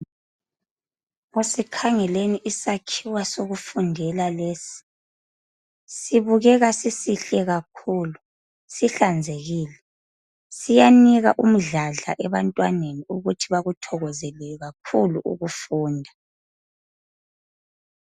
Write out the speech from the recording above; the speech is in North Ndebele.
Isakhiwo sokufundela lesi sibukeka sisihle kakhulu sihlanzekile siyanika umdladla ebantwaneni ukuthi bakuthakazelele kakhulu ukufunda